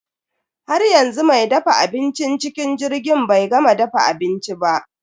Haryanzu me dafa abincin cikin jirgin bai gama dafa abinci ba.